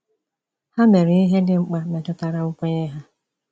Ha mere ihe dị mkpa metụtara nkwenye ha.